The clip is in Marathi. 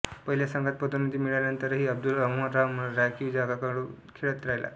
पहिल्या संघात पदोन्नती मिळाल्यानंतरही अब्दुल्रहमान राखीव संघाकडून खेळत राहिला